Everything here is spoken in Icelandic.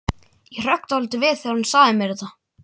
Ég hrökk dálítið við þegar hún sagði mér þetta.